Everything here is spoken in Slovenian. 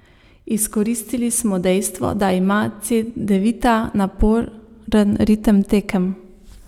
Izkoristili smo dejstvo, da ima Cedevita naporen ritem tekem.